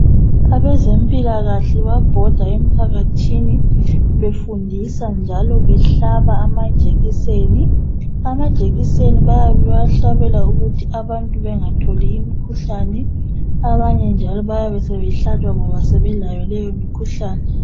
Abezempilakahle bayabhoda emphakathi befundisa njalo behlaba amajekiseni. Amajekiseni bayabe bewahlabela ukuthi abantu bengatholi imikhuhlane abanye njalo bayabe sebehlatshwa njalo ngoba sebelayo leyo mikhuhlane.